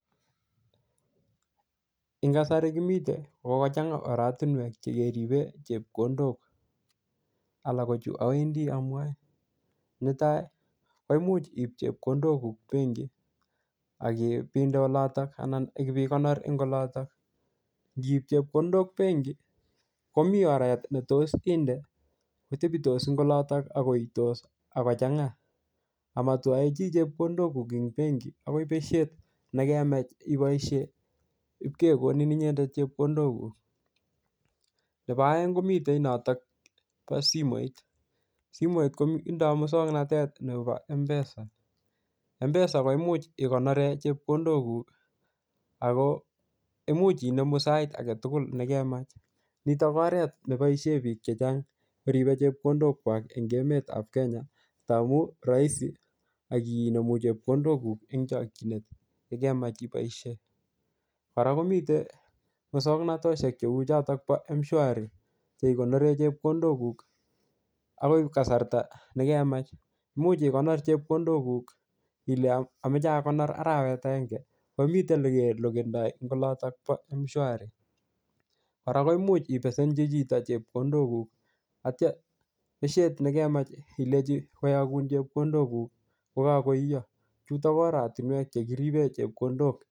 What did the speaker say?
en kasari kimiten kokokochanga oratinwek chekeriben chepkondok alak ko chu owendi amwae neta koimuch ib chepkondok kuk benkit akibinde olotok anan ikipikonor en olotok ngip chepkondok benki komi oret netos inde kotebitos en olotok akoitos akochangaa amotwoe chi chepkondok en benki akoi beshet nekemach iboishen ip kekonin inyendet chepkondokuk nepo oeng komiten notok nepo simoit simoit koindo muswoknotet nebo mpesa mpesa koimuch ikonoren chepkondokuk ako imuch inemu sait agetugul nekemach nitok koret neboishen biik chechang koribe chepkondokwak en emetab kenya ngamun roisi akinemu chepkondok kuk en chokyinet yekemach iboishen kora komiten muswoknotoshek cheu chotok chepo mshwari cheikonoren chepkondokuk akoi kasarta nekemach imuch ikonor chepkondokuk ile amoe akonor arawet agenge komiten ele kelokendo en olotok bo mshwari kora imuch ipesenchi chito chepkondokuk atia beshet nekemach ilenchi koyokun chepkondokuk yekokoiyo chutok ko oratinwek chekiriben chepkondok